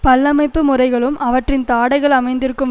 பல்லமைப்பு முறைகளும் அவற்றின் தாடைகள் அமைந்திருக்கும்